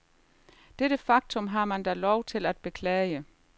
Dette faktum har man da lov til at beklage.